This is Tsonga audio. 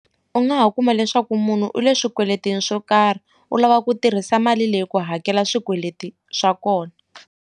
U nga ha kuma leswaku munhu u le swikweletini swo karhi u lava ku tirhisa mali leyi ku hakela swikweleti swa kona.